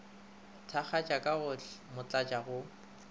thakgatša ka go motlatša go